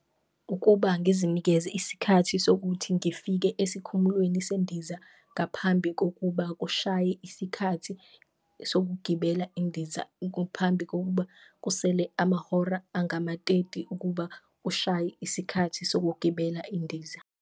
Ukuba ngizinikeze isikhathi sokuthi ngifike esikhumulweni sendiza ngaphambi kokuba kushaye isikhathi sokugibela indiza, phambi kokuba kusele amahora angamateti ukuba kushaye isikhathi sokugibela indiza.